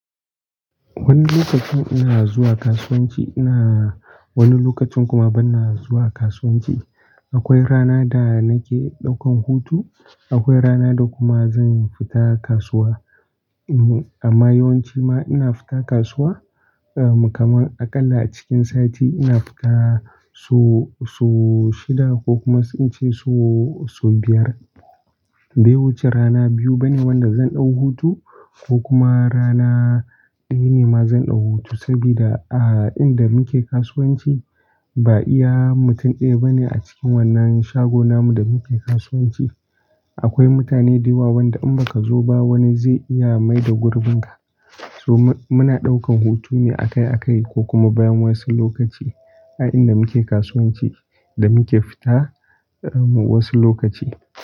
Wani lokacin ina zuwa kasuwanci, ina wani lokacin kuma bana zuwa kasuwanci. Akwai rana da nake ɗaukan hutu, akwai rana da kuma zan fita kasuwa. Amma yawanci ma ina fita kasuwa, kamar aƙalla cikin sati ina fita so, so shida ko kuma ince so, so biyar. Bai wuce rana biyu bane wanda zan ɗau hutu ko kuma rana ɗaya ne ma zan ɗau hutu sabida a inda muke kasuwanci ba iya mutum ɗaya bane a cikin wannan shagona mu da muke kasuwanci. Akwai mutane da yawa wanda in baka zo ba wani zai iya maida gurbinka. So muna ɗaukan hutu ne akai-akai ko kuma bayan wasu lokaci a inda muke kasuwanci da muke fita wasu lokaci.